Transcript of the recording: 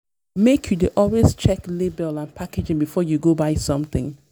make you dey always check label and packaging before you go buy something.